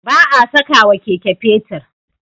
Ba a sakawa Keke fetir